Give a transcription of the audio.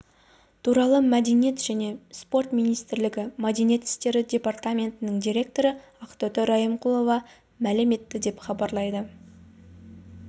туралы мәдениет және спорт министрлігі мәдениет істері департаментінің директоры ақтоты райымқұлова мәлім етті деп хабарлайды